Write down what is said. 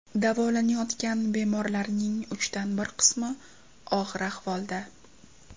Davolanayotgan bemorlarning uchdan bir qismi og‘ir ahvolda.